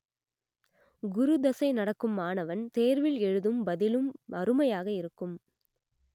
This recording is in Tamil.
குரு தசை நடக்கும் மாணவன் தேர்வில் எழுதும் பதிலும் அருமையாக இருக்கும்